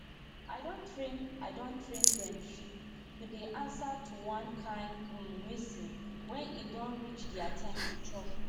i don train i don train dem sheep to dey answer to one kind um whistle when e don reach dia time to chop